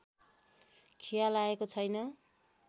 खिया लागेको छैन